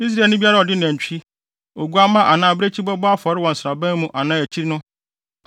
Israelni biara a ɔde nantwi, oguamma anaa abirekyi bɛbɔ afɔre wɔ nsraban mu anaa akyi no,